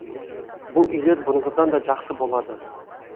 бұл үйлер бұрынғыдан да жақсы болады